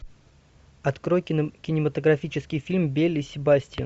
открой кинематографический фильм белль и себастьян